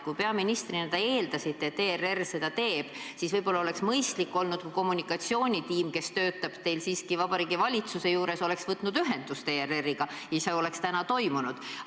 Kui te peaministrina eeldasite, et ERR selle ülekande teeb, siis võib-olla oleks mõistlik olnud, kui ka kommunikatsioonitiim, kes teil Vabariigi Valitsuse juures töötab, oleks ERR-iga ühendust võtnud.